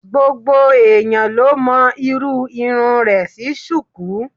Gbogbo ẹ̀yán ló mọ irú irun rẹ̀ sí Ṣùkú.